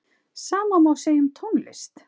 Sama má segja um tónlist.